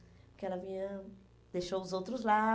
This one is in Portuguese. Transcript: Porque ela vinha, deixou os outros lá.